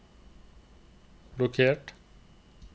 blokkert